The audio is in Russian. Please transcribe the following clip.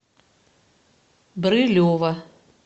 брылева